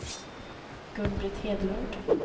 Gun-Britt Hedlund